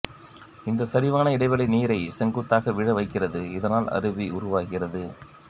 இந்த சரிவான இடைவெளி நீரை செங்குத்தாக விழ வைக்கிறது இதனால் அருவி உருவாகிறது